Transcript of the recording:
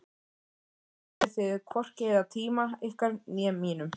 Þá skuluð þið hvorki eyða tíma ykkar né mínum.